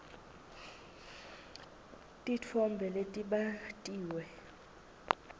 titfombe letbatiwe